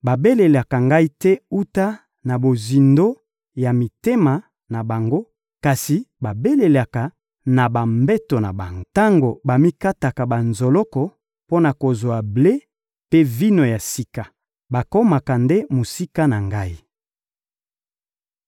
Babelelaka Ngai te wuta na mozindo ya mitema na bango, kasi balelaka na bambeto na bango. Tango bamikataka banzoloko mpo na kozwa ble mpe vino ya sika, bakomaka nde mosika na Ngai.